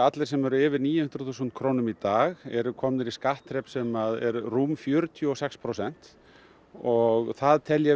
allir sem eru yfir níu hundruð þúsund krónum í dag erum komnir í skattþrep sem er rúm fjörutíu og sex prósent og það tel ég